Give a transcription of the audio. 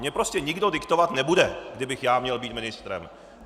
Mně prostě nikdo diktovat nebude, kdybych já měl být ministrem.